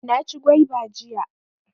Na ci gwaiba jiya